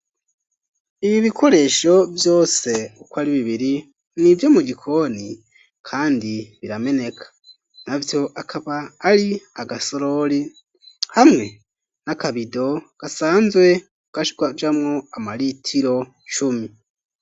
Ibi bikoresho vyose, uko ari bibiri, ni ivyo mu gikoni, kandi birameneka; navyo akaba ari: agasorori, hamwe n'akabido, gasanzwe kajamwo, amaritiro cumi.